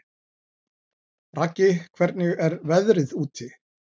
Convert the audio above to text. Raggi, hvernig er veðrið úti?